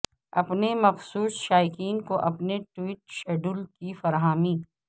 اپنے مخصوص شائقین کو اپنے ٹویٹ شیڈول کی فراہمی